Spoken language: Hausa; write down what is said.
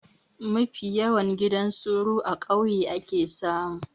Mafi yawan gidan soro a kauye ake samu